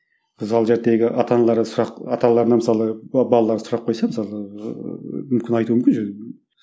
мысалы ата аналары сұрақ ата аналарына мысалы балалары сұрақ қойса мысалы ыыы мүмкін айтуы мүмкін